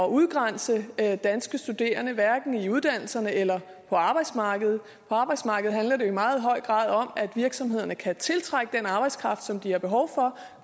udgrænse danske studerende hverken i uddannelserne eller på arbejdsmarkedet på arbejdsmarkedet handler det jo i meget høj grad om at virksomhederne kan tiltrække den arbejdskraft som de har behov for